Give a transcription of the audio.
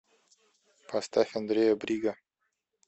поставь андрея брига